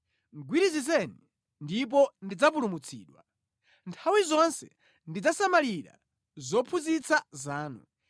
Gwirizizeni, ndipo ndidzapulumutsidwa; nthawi zonse ndidzasamalira zophunzitsa zanu.